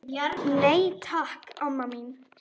Nei, takk, amma mín.